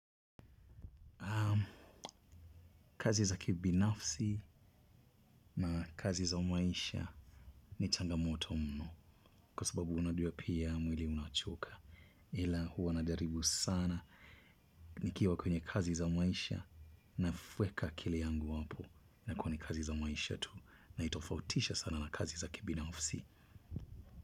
Kazi za kibinafsi na kazi za maisha ni changamoto mno. Kwa sababu unajua pia mwili unachoka. Ila huwa najaribu sana. Nikiwa kwenye kazi za maisha naweka akili yangu hapo. Inakuwa ni kazi za maisha tu. Naitofautisha sana na kazi za kibinafsi.